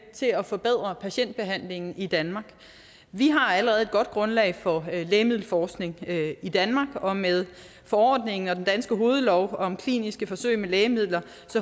til at forbedre patientbehandlingen i danmark vi har allerede et godt grundlag for lægemiddelforskning i danmark og med forordningen og den danske hovedlov om kliniske forsøg med lægemidler